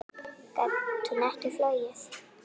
Gat hún ekki flogið?